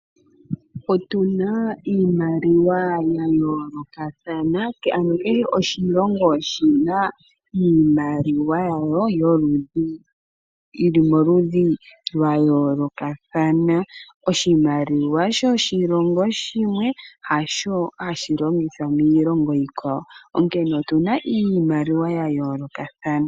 Otuna iimaliwa ya yoolokathana kehe oshilongo oshina iimaliwa yayo yili moludhi lwayoolokathana. Oshimaliwa shoshilongo shimwe hasho hashi longithwa miilongo iikwawo onkene otuna iimaliwa ya yoolokathana.